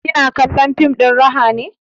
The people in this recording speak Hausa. Kina kallon fim ɗin raha ne?